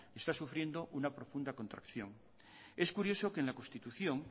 están sufriendo una profunda contracción es curioso que en la constitución